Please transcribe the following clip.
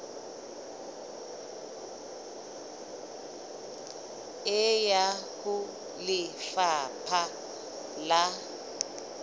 e ya ho lefapha la